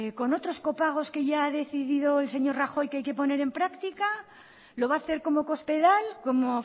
con otros copagos que ya ha decidido el señor rajoy que hay que poner práctica lo va a hacer como cospedal como